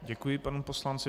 Děkuji panu poslanci.